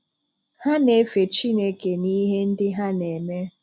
Ha n’efè Chineke n’ihe ndị ha n’eme.